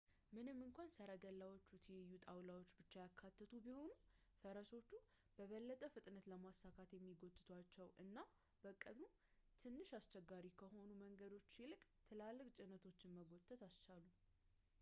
ምንም እንኳን ሰረገላዎቹ ትይዩ ጣውላዎችን ብቻ ያካተቱ ቢሆኑም ፈረሶችን በበለጠ ፍጥነትን ለማሳካት የሚጎትቷቸው እና ከቀኑ ትንሽ አስቸጋሪ ከሆኑ መንገዶች ይልቅ ትላልቅ ጭነቶች መጎተትን ኣስቻሉ